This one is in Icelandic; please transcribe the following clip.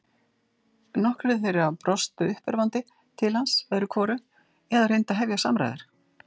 Nokkrir þeirra brostu uppörvandi til hans öðru hvoru eða reyndu að hefja samræður.